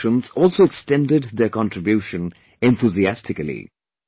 Institutions also extended their contribution enthusiastically